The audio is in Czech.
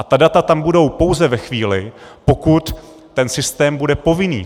A ta data tam budou pouze ve chvíli, pokud ten systém bude povinný.